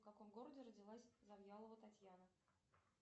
в каком городе родилась завьялова татьяна